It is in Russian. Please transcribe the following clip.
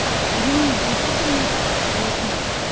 денис за что ты меня кикнул объясни